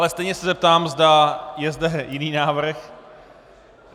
Ale stejně se zeptám, zda je zde jiný návrh.